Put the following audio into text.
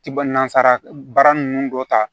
Ti ba nazara baara ninnu dɔ ta